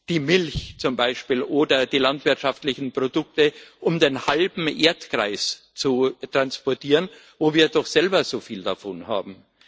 die Milch oder die landwirtschaftlichen Produkte um den halben Erdkreis zu transportieren, wo wir doch selber so viel davon haben?